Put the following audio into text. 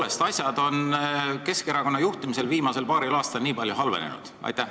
Kas asjad on tõepoolest Keskerakonna juhtimisel viimasel paaril aastal nii palju halvenenud?